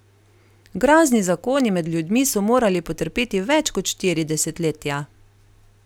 Grozni zakoni med ljudmi so morali potrpeti več kot štiri desetletja.